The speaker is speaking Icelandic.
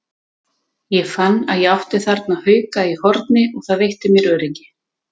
Ég fann að ég átti þarna hauka í horni og það veitti mér öryggi.